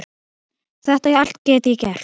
Þetta allt get ég gert.